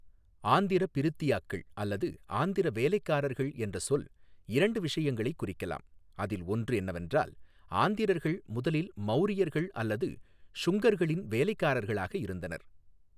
ஆந்திரபிரித்தியாக்கள் அல்லது ஆந்திர வேலைக்காரர்கள் என்ற சொல் இரண்டு விஷயங்களைக் குறிக்கலாம், அதில் ஒன்று என்னெவென்றால் ஆந்திரர்கள் முதலில் மௌரியர்கள் அல்லது ஷுங்கர்களின் வேலைக்காரர்களாக இருந்தனர்.